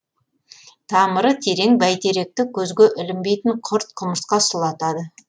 тамыры терең бәйтеректі көзге ілінбейтін құрт құмырсқа сұлатады